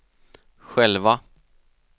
själva